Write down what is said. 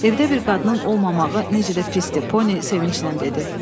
Evdə bir qadının olmamağı necə də pisdir, Poni sevincdən dedi.